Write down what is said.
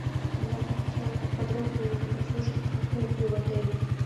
я бы хотела подробнее услышать про кухню в отеле